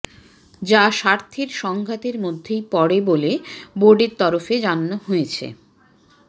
যা স্বার্থের সংঘাতের মধ্যেই পড়ে বলে বোর্ডের তরফে জানানো হয়েছে